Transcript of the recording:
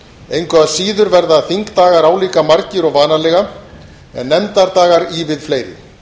engu að síður verða þingdagar álíka margir og vanalega en nefndadagar ívið fleiri